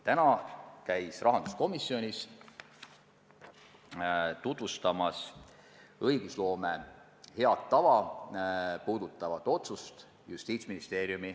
Täna käis rahanduskomisjonis Justiitsministeeriumi meeskond tutvustamas õigusloome head tava.